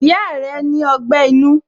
Ìyá rẹ ni ogbẹ́ inú